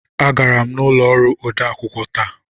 Agara m n'ụlọ ọrụ odeakwụkwọ taa.